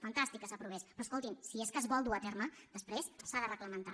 fantàstic que s’aprovés però escoltin si és que es vol dur a terme després s’ha de reglamentar